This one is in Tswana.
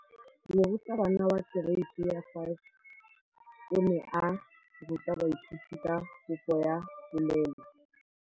Moratabana wa kereiti ya 5 o ne a ruta baithuti ka popô ya polelô.